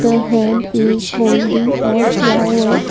a hand is holding a flower.